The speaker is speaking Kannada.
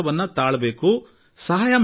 ನಾವು ನಾಗರಿಕರಲ್ಲಿ ಭರವಸೆ ಇಡೋಣ